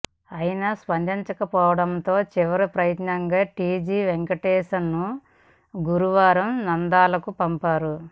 అయినా స్పందిం చకపోవడంతో చివరి ప్రయత్నంగా టీజీ వెంకటేష్ను గురు వారం నంద్యాలకు పంపారు